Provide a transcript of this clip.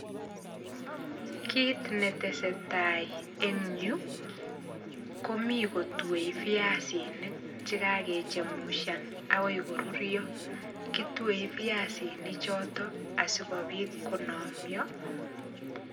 Kit netesetai en yu, komii kotue viasinik chekakechemushan akoi koruiro. Kitue viasinik chotok, asikobit konamyo.